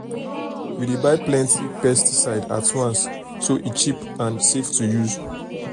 we dey buy plenty pesticide at once so e cheap and safe to use.